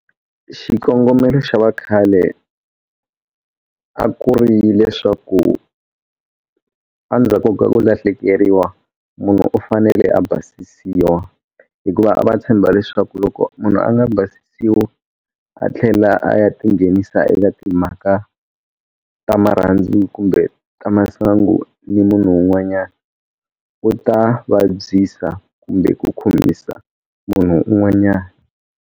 Xikongomelo xa vakhale a ku ri leswaku a ndzhaku ka ku lahlekeriwa munhu u fanele a basisiwa hikuva a va tshemba leswaku loko munhu a nga basisiwa a tlhela a ya tinghenisa eka timhaka ta marhandzu kumbe ta masangu ni munhu un'wanyana u ta vabyisa kumbe ku khomisa munhu un'wanyana.